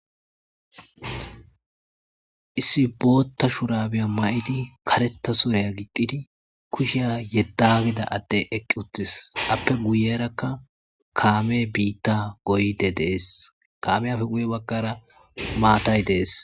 Issi bootha shurabiya mayidi karetha suriya gixxidi kushiya yedagida ade eqiutis appe guyeraka kame bita goyidi deasi kamiyappe guy bagara maththay des.